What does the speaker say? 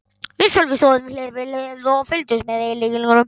Við Sölvi stóðum hlið við hlið og fylgdumst með eyðileggingunni.